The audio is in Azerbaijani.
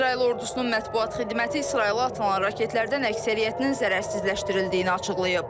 İsrail ordusunun mətbuat xidməti İsrailə atılan raketlərdən əksəriyyətinin zərərsizləşdirildiyini açıqlayıb.